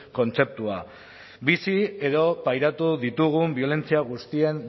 kontzeptua bizi edo pairatu ditugun biolentzia guztien